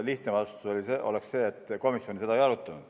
Lihtne vastus oleks see, et komisjon seda ei arutanud.